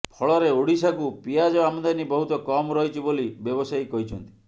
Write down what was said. ଫଳରେ ଓଡ଼ିଶାକୁ ପିଆଜ ଆମଦାନୀ ବହୁତ କମ୍ ରହିଛି ବୋଲି ବ୍ୟବସାୟୀ କହିଛନ୍ତି